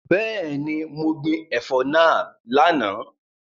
Bẹẹni, mo gbin ẹ̀fọ́ náà lánàá.